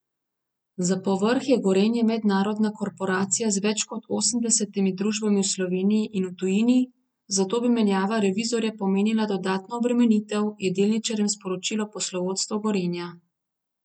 Za povrh je Gorenje mednarodna korporacija z več kot osemdesetimi družbami v Sloveniji in v tujini, zato bi menjava revizorja pomenila dodatno obremenitev, je delničarjem sporočilo poslovodstvo Gorenja.